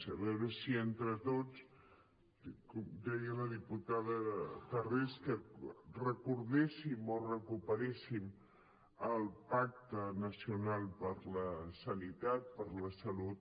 a veure si entre tots ho deia la diputada tarrés que recordéssim o recuperéssim el pacte nacional per la sanitat per la salut